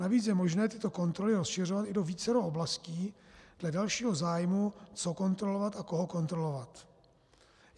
Navíc je možné tyto kontroly rozšiřovat i do vícero oblastí dle dalšího zájmu, co kontrolovat a koho kontrolovat.